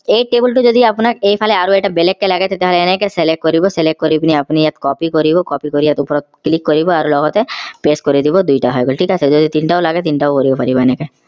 এই table টো যদি আপোনাক এইফালে আৰু এটা বেলেগ কে লাগে তেতিয়া হলে এনেকে select কৰিব select কৰি পিনি আপুনি ইয়াত copy কৰিব copy কৰি ইয়াত ওপৰত click কৰিব আৰু লগতে press কৰি দিব দুইটা হৈ গল ঠিক আছে যদি তিনিটাও লাগে তিনিটাও কৰিব পাৰিব এনেকে